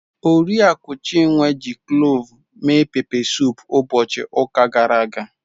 Oriakụ Chinwe ji cloves mee pepe suup ụbọchị ụka gara aga.